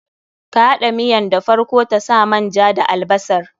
Ka haɗa miyan da farko ta sa man ja da albasar.